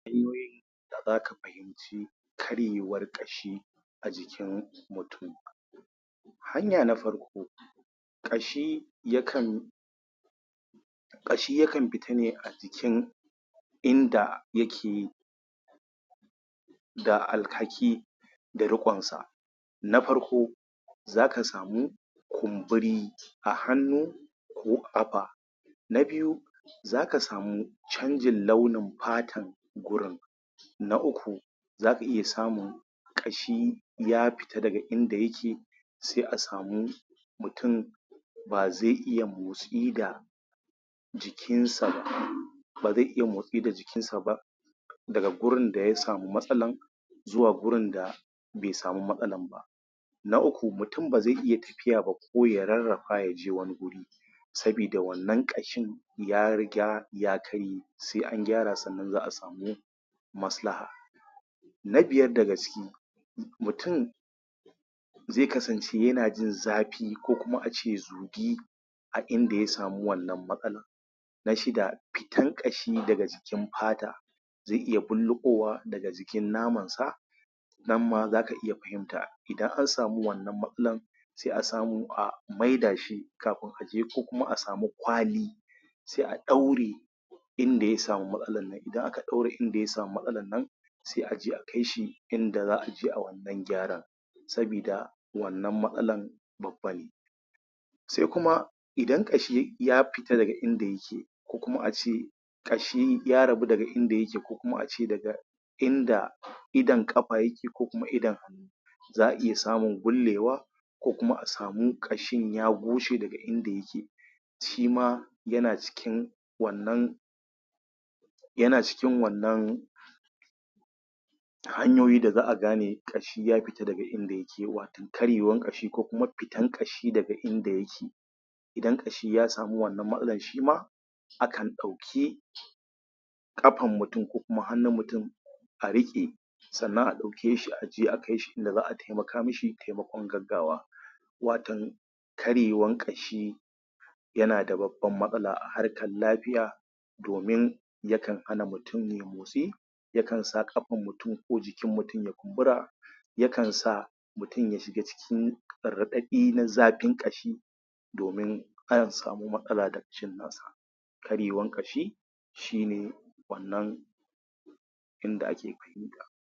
Hanyoyin da za ka fahinci karyewar ƙashi a jikin mutum hanya na farko ƙashi yakan ƙashi yakan fita ne a jikin inda yake ga alhaki da ruƙonsa. Na farko za ka samu kumburi a hannu ko ƙafa na biyu za ka samu canjin launin fatar gurin na uku za ka iya samun ƙashi ya fita daga inda ya ke sai a samu mutum ba zai iya motsi da jikinsa ba ba zai iya motsi da jikinsa ba daga wurin da ya samu matsalar zuwa wurin da bai samu matsalar ba. Na uku mutum ba zai iya tafiya ba ko ya rarrafa ya je wani guri sabida wannan ƙashin ya riga ya ya karye sai an gyra sannan a samu maslaha. na biyar daga ciki mutum zai kasance yana jin zafi ko a ce zugi a inda ya samu wannan matsalar na shida fitan ƙashi daga cikin fata zai iya bulluƙowa daga cikin namansa nan ma za ka iya fahimta idan an samu wannan matsala za a iya maida shi kafin a je ko kuma asamu kwali sai a ɗaure in da ya samu matsalar nan idan aka ɗaure inda ya samu matsalar sai a kai shi in da za ai gyaran sabidda wannan matsalar babba ne. Sai kuma idan ƙashi ya fita daga in da yake ko kuma ace ƙashi ya rabu daga inda yake ko kuma daga inda idon ƙafa yake ko kuma idon hannu za a iya samun gullewa ko kuma a samu ƙashin ya goce daga inda yake shi ma wannan yana cikin wannan hanyoyin da za a gane ƙashi ya fita daga inda yake wato karewan ƙashi ko kuma fitan ƙashi daga in da yake idan ƙashi ya samu wannan matsalar shi ma akan ɗauki ƙafar mutum ko kuma hannun mutum a riƙe sannan a ɗauke shi in da za a taimaka ma shi taimakon gaggawa. Waton karywean ƙashi yana da babban matsala a harkan lafiya domin yakan hana mutum yai motsi yajkan sa ƙafan mutum ko jikin mutum ya kumbura yakan sa mutum ya shiga cikin raɗaɗi na zafin ƙashi domin an samo matsala daga cinyansa karyewan ƙashi shi ne wannan in da ake